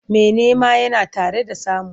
Mai nema yana tare da samu.